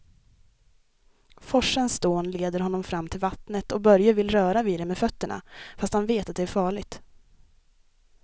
Forsens dån leder honom fram till vattnet och Börje vill röra vid det med fötterna, fast han vet att det är farligt.